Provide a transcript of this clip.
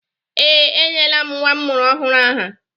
Ee, enyela m nnwa m mụrụ ọhụrụ aha